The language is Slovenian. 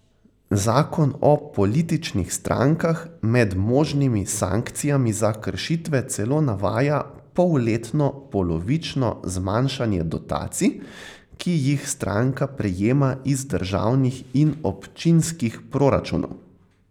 Zakon o političnih strankah med možnimi sankcijami za kršitve celo navaja polletno polovično zmanjšanje dotacij, ki jih stranka prejema iz državnih in občinskih proračunov.